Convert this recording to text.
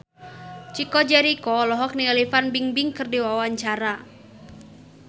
Chico Jericho olohok ningali Fan Bingbing keur diwawancara